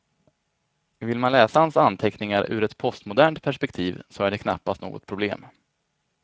Vill man läsa hans anteckningar ur ett postmodernt perspektiv så är det knappast något problem.